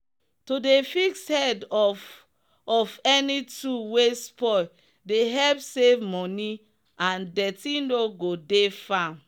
to dey fix head of of any tool wey spoil dey help save moni and dirty no go dey farm